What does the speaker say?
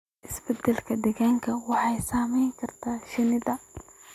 Isbeddellada deegaanka waxay saameyn karaan shinnida.